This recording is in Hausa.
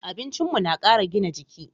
Abincin mu na kara gina jiki